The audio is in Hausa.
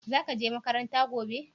Zara je makaranta gobe?